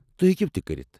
تُہۍ ہیٚکو تہِ کٔرتھ ۔